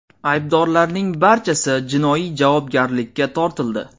Aybdorlarning barchasi jinoiy javobgarlikka tortildi.